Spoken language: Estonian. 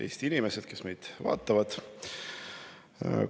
Eesti inimesed, kes meid vaatavad!